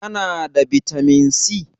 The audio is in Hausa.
Kana da bitamin C?